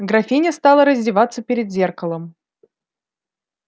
графиня стала раздеваться перед зеркалом